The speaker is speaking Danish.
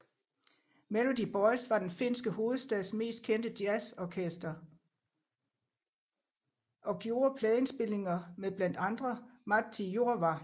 Melody Boys var den finske hovedstads mest kendte jazzorkester og gjorde pladeindspilninger med blandt andre Matti Jurva